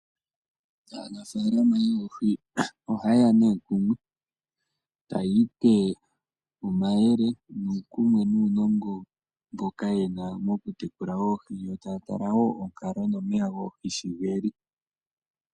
Aanafalama yoohi ohaye ya nee kumwe, taya ipe omayele nuukumwe nuunongo mboka ye na mokutekula oohi, yo taya tala wo onkalo nomeya goohi shi geli.